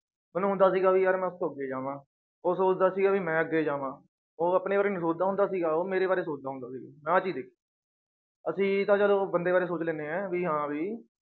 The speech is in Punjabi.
ਮੈਨੂੰ ਹੁੰਦਾ ਸੀਗਾ ਵੀ ਯਾਰ ਮੈਂ ਉਸਤੋਂ ਅੱਗੇ ਜਾਵਾਂ, ਉਹ ਸੋਚਦਾ ਸੀਗਾ ਵੀ ਮੈਂ ਅੱਗੇ ਜਾਵਾਂ, ਉਹ ਆਪਣੇ ਬਾਰੇ ਨੀ ਸੋਚਦਾ ਹੁੰਦਾ ਸੀਗਾ ਉਹ ਮੇਰਾ ਬਾਰੇ ਸੋਚਦਾ ਹੁੰਦਾ ਸੀ ਅਸੀਂ ਤਾਂ ਚਲੋ ਬੰਦੇ ਬਾਰੇ ਸੋਚ ਲੈਂਦੇ ਹਾਂ ਵੀ ਹਾਂ ਵੀ